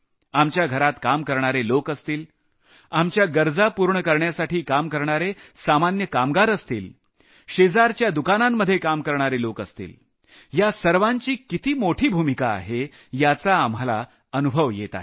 आपल्या घरात काम करणारे लोक असतील आपल्या गरजा पूर्ण करण्यासाठी काम करणारे सामान्य कामगार असतील शेजारच्या दुकानांमध्ये काम करणारे लोक असतील या सर्वांची किती मोठी भूमिका आहे याचा आपल्याला अनुभव येत आहे